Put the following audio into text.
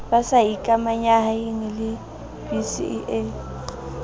ba sa ikamahanyeng le bcea